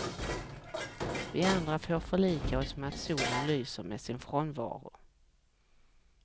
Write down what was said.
Vi andra får förlika oss med att solen lyser med sin frånvaro.